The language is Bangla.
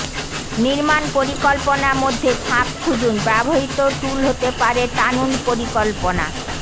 নির্মাণ পরিকল্পনা মধ্যে ফাঁক খুঁজুন ব্যবহৃত টুল হতে পারে টানুন পরিকল্পনা